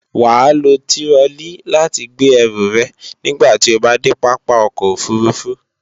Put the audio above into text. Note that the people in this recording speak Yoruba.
Wàá lo tirọlí láti gbé ẹrù rẹ̀ nígbàti o bá dé Pápá ọkọ̀ òfurufú